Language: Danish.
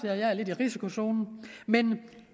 jeg er lidt i risikozonen men